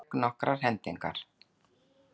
Hann lék nokkrar hendingar.